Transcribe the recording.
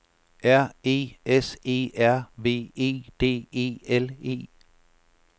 R E S E R V E D E L E